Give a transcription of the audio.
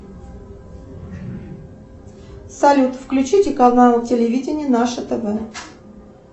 салют включите канал телевидения наше тв